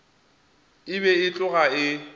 e be e tloga e